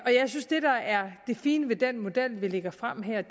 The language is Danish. det fine ved den model vi lægger frem her er